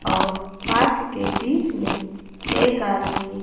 और पार्क के बीच में एक आदमी--